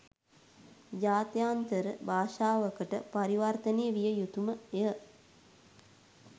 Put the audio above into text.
ජාත්‍යන්තර භාෂාවකට පරිවර්තනය විය යුතු ම ය.